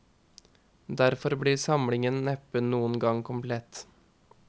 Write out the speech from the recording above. Derfor blir samlingen neppe noen gang komplett.